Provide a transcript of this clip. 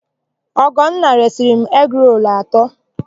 Ọgọnna resịrị m egirolu atọ.